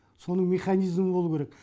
соның механизмі болу керек